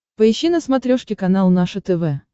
поищи на смотрешке канал наше тв